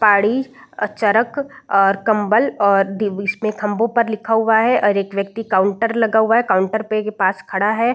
तारी अ चरक और कम्बल और दि बिस मे खंभों पर लिखा हुआ है और एक व्यक्ति काउंटर लगा हुआ है काउंटर पे पास खड़ा है।